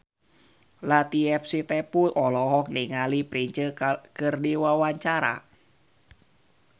Latief Sitepu olohok ningali Prince keur diwawancara